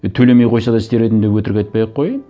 е төлемей қойса да істер едім деп өтірік айтпай ақ қояйын